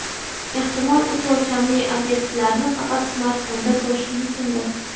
Ehtimol, uch o‘lchamli obyektlarni faqat smartfonda ko‘rish mumkindir.